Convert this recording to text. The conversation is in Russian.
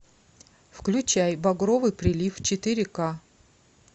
включай багровый прилив четыре ка